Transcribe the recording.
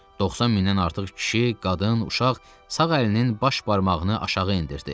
90 mindən artıq kişi, qadın, uşaq sağ əlinin baş barmağını aşağı endirdi.